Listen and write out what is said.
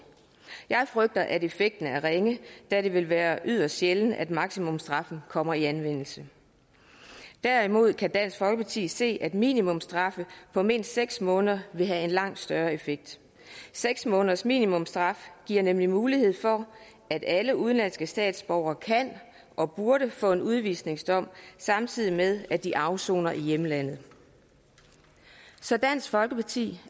jeg frygter at effekten er ringe da det vil være yderst sjældent at maksimumsstraffen kommer i anvendelse derimod kan dansk folkeparti se at minimumsstraffe på mindst seks måneder vil have en langt større effekt seks måneders minimumsstraf giver nemlig mulighed for at alle udenlandske statsborgere kan og burde få en udvisningsdom samtidig med at de afsoner i hjemlandet så dansk folkeparti